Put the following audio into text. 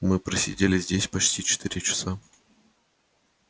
мы просидели здесь почти четыре часа